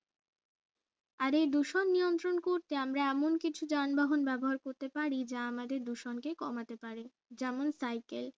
আর এই দূষণ নিয়ন্ত্রণ করতে আমরা এমন কিছু যানবাহন ব্যবহার করতে পারি যা আমাদের দুজনকে কমাতে পারে যেমন সাইকেল